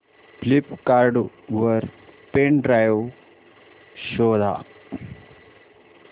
Flipkart वर pen drive शोधा